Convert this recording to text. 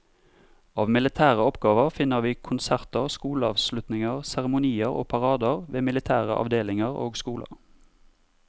Av militære oppgaver finner vi konserter, skoleavslutninger, seremonier og parader ved militære avdelinger og skoler.